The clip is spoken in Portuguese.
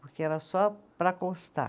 Porque era só para constar.